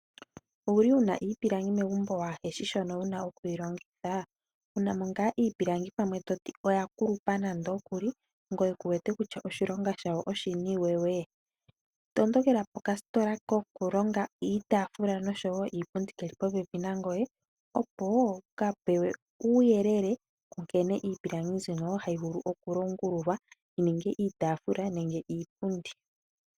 Owu na mo iipilangi membo waahe shi shono wu na okuyi longitha? Wu na mo ngaa iipilangi pamwe to ti oya kulupa ngoye kuwete kutya oshilonga shawo oshini we? Tondokela pokasitola kokulonga iitaafula oshowo iipundi ke li popepi nangoye, opo wu ka pewe uuyelele wa nkene iipilangi mbyono hayi vulu okulongululwa yi ninge iitaafula nenge iipundi.